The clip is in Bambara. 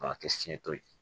K'a kɛ fiɲɛ to ye